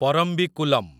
Parambikulam